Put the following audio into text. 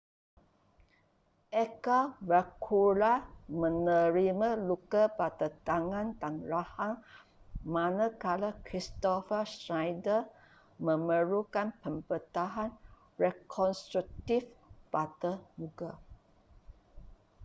edgar veguilla menerima luka pada tangan dan rahang manakala kristoffer schneider memerlukan pembedahan rekonstruktif pada muka